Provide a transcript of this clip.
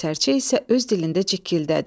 Sərçə isə öz dilində cikkildədi.